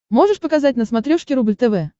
можешь показать на смотрешке рубль тв